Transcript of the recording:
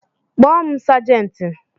Kpọọ m sejenti.